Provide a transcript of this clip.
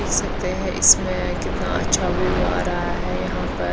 देख सकते है इसमें कितना अछा व्यू आरा है यहा पर--